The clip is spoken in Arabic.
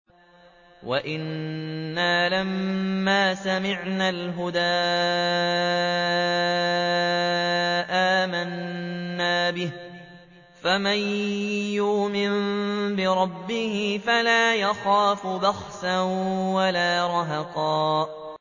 وَأَنَّا لَمَّا سَمِعْنَا الْهُدَىٰ آمَنَّا بِهِ ۖ فَمَن يُؤْمِن بِرَبِّهِ فَلَا يَخَافُ بَخْسًا وَلَا رَهَقًا